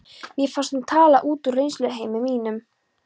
Mér fannst hún tala út úr reynsluheimi mínum.